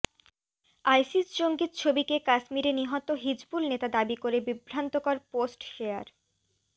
ISIS জঙ্গির ছবিকে কাশ্মীরে নিহত হিজবুল নেতা দাবি করে বিভ্রান্তকর পোস্ট শেয়ার